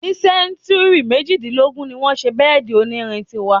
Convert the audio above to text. Ní sẹ́túrì mejìdínlógún ní wọ́n ṣe bẹ́èdì onírin tí wà.